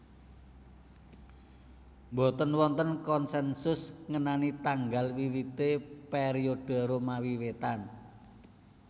Mboten wonten konsensus ngenani tanggal wiwité periode Romawi Wétan